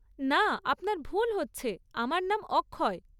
না, আপনার ভুল হচ্ছে, আমার নাম অক্ষয়।